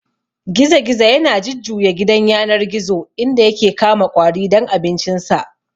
Gizo-gizo yana jujjuya gidan yanar gizo inda yake kama ƙwari don abincinsa.